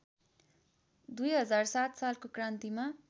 २००७ सालको क्रान्तिमा